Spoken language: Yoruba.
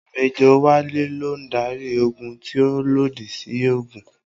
Mẹ́jọ̀ Wálé ló ń darí ogun tí ó lòdì sí òògùn